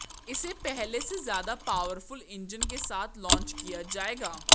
इसे पहले से ज्यादा पावरफुल इंजन के साथ लॉन्च किया जाएगा